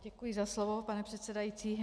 Děkuji za slovo, pane předsedající.